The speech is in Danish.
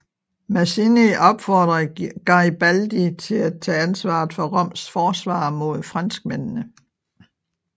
Mazzini opfordrede Garibaldi til at tage ansvaret for Roms forsvar mod franskmændene